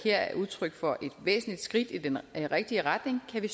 er udtryk for et væsentligt skridt i den rigtige retning kan vi